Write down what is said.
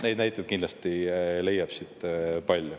Neid näiteid kindlasti leiab palju.